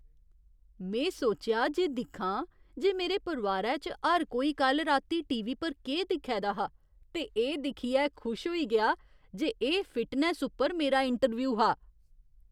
में सोचेआ जे दिक्खां जे मेरे परोआरै च हर कोई कल्ल राती टीवी पर केह् दिक्खै दा हा ते एह् दिक्खियै खुशी होई गेआ जे एह् फिटनैस्स उप्पर मेरा इंटरव्यू हा!